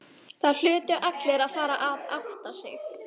Það hlutu allir að fara að átta sig.